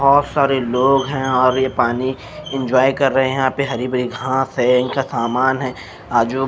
बहुत सारे लोग हैं और ये पानी एंजॉय कर रहे हैं यहाँ पे हरी भरी घास है इनका सामान है आजू --